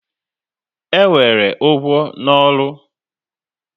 E nwere ugwu na ọrụ